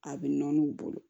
A bɛ nɔɔni bolo